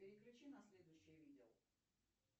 переключи на следующее видео